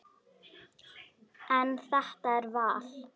En þetta er val.